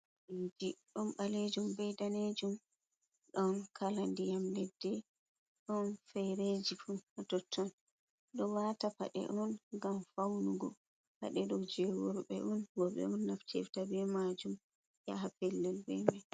Jji ɗom balejum bei danejum, ɗon kala ndiyam leddi ɗon fereji totton. Ɗo wata paɗe on ngam faunugo, pade ɗo je worɓe on worɓe on naftirta be majum yaha pellel be mai.